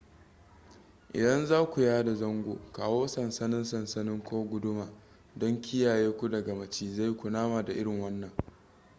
idan zaku yada zango kawo sansannin sansanin ko guduma don kiyaye ku daga macizai kunama da irin wannan